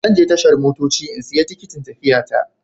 Zan je tashar motoci in siya tikitin tafiya ta.